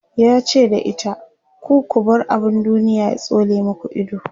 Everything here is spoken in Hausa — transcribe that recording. yace da ita "ku ku bar abun duniya ya tsole maku Ido!"